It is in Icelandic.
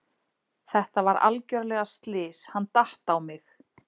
Þetta var algjörlega slys, hann datt á mig.